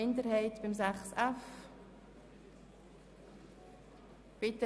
Sind Sie mit diesem Ablauf einverstanden?